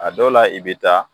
A dɔw la i be taa